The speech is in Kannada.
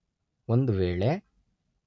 ಒಂದು ವೇಳೆ